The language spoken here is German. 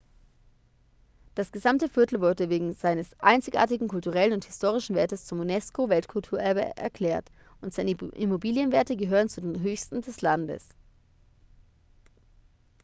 das gesamte viertel wurde wegen seines einzigartigen kulturellen und historischen wertes zum unesco-weltkulturerbe erklärt und seine immobilienwerte gehören zu den höchsten des landes